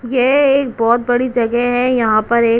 यह एक बहुत बड़ी जगह है यहां पर एक --